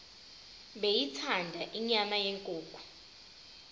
beyithanda inyama yenkukhu